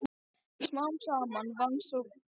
Smám saman vann sú hrokkinhærða samt traust mitt.